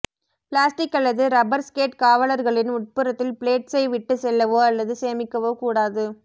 plastic அல்லது rubber skate காவலர்களின் உட்புறத்தில் பிளேட்ஸை விட்டுச் செல்லவோ அல்லது சேமிக்கவோ கூடாது